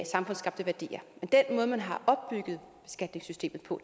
samfundsskabte værdier men den måde man har opbygget skattesystemet på